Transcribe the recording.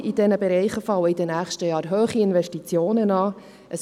In diesen Bereichen fallen in den nächsten Jahren hohe Investitionen an.